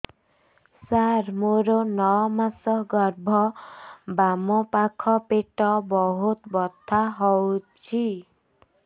ସାର ମୋର ନଅ ମାସ ଗର୍ଭ ବାମପାଖ ପେଟ ବହୁତ ବଥା ହଉଚି